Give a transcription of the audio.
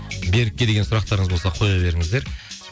берікке деген сұрақтарыңыз болса қоя беріңіздер